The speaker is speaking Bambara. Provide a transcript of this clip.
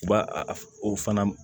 U b'a a o fana